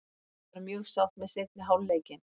Ég var mjög sátt með seinni hálfleikinn.